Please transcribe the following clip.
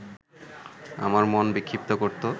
আমার মন বিক্ষিপ্ত করত